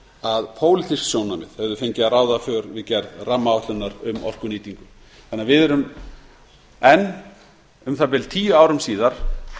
að pólitísk sjónarmið hefðu fengið að ráða för við gerð rammaáætlunar um orkunýtingu þannig að við erum enn um það bil tíu árum síðar